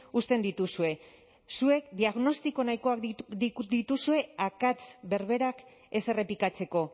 uzten dituzue zuek diagnostiko nahikoak dituzue akats berberak ez errepikatzeko